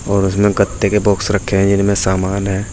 और उसमें गत्ते के बॉक्स रखे हैं जिनमें समान है।